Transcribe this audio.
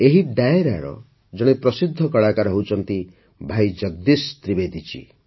ଏହି ଡାୟରାର ଜଣେ ପ୍ରସିଦ୍ଧ କଳାକାର ହେଉଛନ୍ତି ଭାଇ ଜଗଦୀଶ ତ୍ରିବେଦୀ ଜୀ